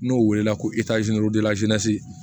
N'o wele la ko